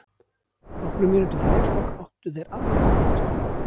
Nokkrum mínútum fyrir leikslok áttu þeir annað stangarskot.